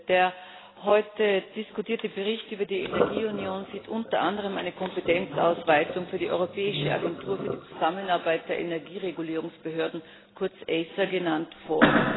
Der heute diskutierte Bericht über die Energieunion sieht unter anderem eine Kompetenzausweitung für die Europäische Agentur für die Zusammenarbeit der Energieregulierungsbehörden, kurz ACER genannt, vor.